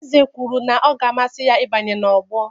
Eze kwuru na ọ ga-amasị ya ịbanye na ogbo